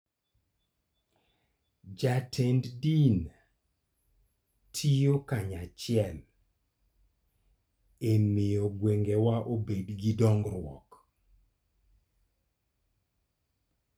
Jotend din tiyo kanyachiel e miyo gweng'wa obed gi dongruok.